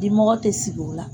Dimɔgɔ tɛ sigi o la.